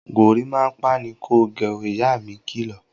Gorímápá ni kò gẹ ó! Ìyá mi kilọ̀